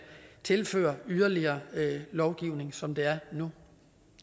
tilføre yderligere lovgivning som det er nu